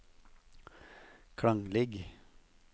klanglig